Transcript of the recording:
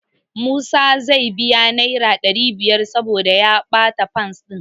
Musa zai biya Naira ɗari biyar saboda ya ɓatar Fas ɗin.